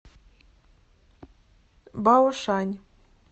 баошань